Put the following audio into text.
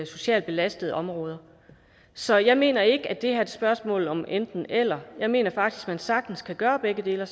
socialt belastede områder så jeg mener ikke at det her er et spørgsmål om enten eller jeg mener faktisk at man sagtens kan gøre begge dele og